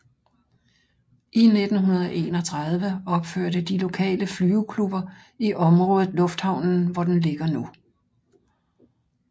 I 1931 opførte de lokaleflyveklubber i området lufthavnen hvor den ligger nu